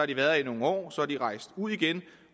de været her i nogle år så er de rejst ud igen